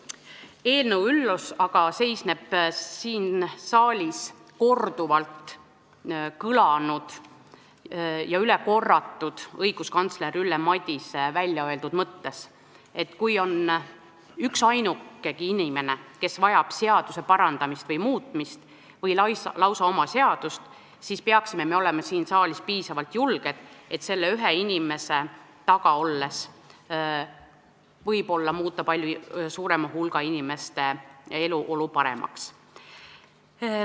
Eelnõu üllus aga seisneb siin saalis korduvalt kõlanud ja üle korratud õiguskantsler Ülle Madise väljaöeldud mõttes, et kui on üksainukegi inimene, kes vajab seaduse parandamist või muutmist või lausa oma seadust, siis me peaksime olema siin saalis piisavalt julged, sest selle ühe inimese eest seistes võib muuta palju suurema hulga inimeste eluolu paremaks.